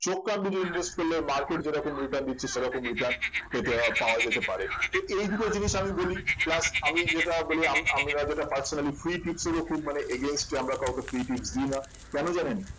চোখ কান বুজে invest করলে market যেরকম return দিচ্ছে সেরকম return পেতে উম পাওয়া যেতে পারে তো এই দুটো জিনিস আমি বলি plus আমি যেটা বলি আম~ আমরা যেটা personally free tips এরও খুব মানে against এ আমরা free tips দিই না কেন জানেন